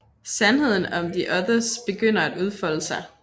Sandheden om the Others begynder at udfolde sig